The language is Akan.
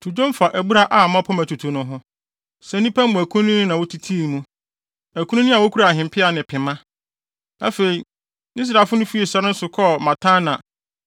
To dwom fa abura a mmapɔmma tutu no ho, sɛ nnipa mu akunini na wotitii mu; akunini a wokura ahempeaw ne pema.” Afei, Israelfo no fii sare no so kɔfaa Matana,